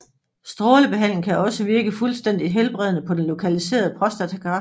Strålebehandling kan også virke fuldstændigt helbredende på den lokaliserede prostatakræft